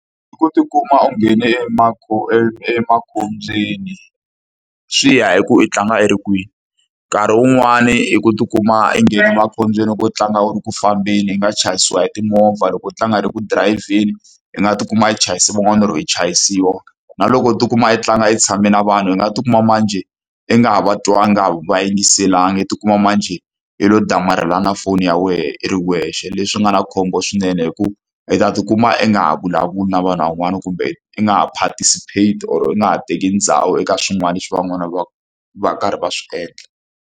I ku ti kuma u nghene emakhobyeni, swi ya hi ku i tlanga i ri kwini. Nkarhi wun'wani i ku ti kuma u nghene emakhobyeni loko u tlanga u ri ku fambeni, i nga chayisiwa hi timovha. Loko u tlanga u ri eku dirayivheni hi nga ti kuma yi chayisa van'wani or-o i chayisiwa. Na loko i ti kuma i tlanga i tshame na vanhu i nga ti kuma manjhe i nga ha va twanga i nga va yingiselanga, i tikuma manjhe i lo damarhelana na foni ya wena i ri wexe. Leswi nga na khombo swinene hikuva i ta ti kuma i nga ha vulavuli na vanhu van'wani, kumbe i nga ha participate or u nga ha teki ndhawu eka swin'wana leswi van'wana va ku va karhi va swi endla.